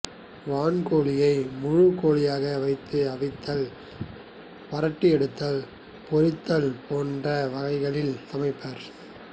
வான்கோழியை முழுக் கோழியாக வைத்து அவித்தல் வறட்டியெடுத்தல் பொரித்தல் போன்ற வகைகளில் சமைப்பர்